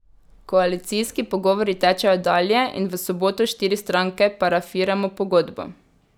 Koalicijski pogovori tečejo dalje in v soboto štiri stranke parafiramo pogodbo.